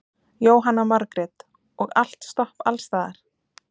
Jóhanna Margrét: Og allt stopp alls staðar?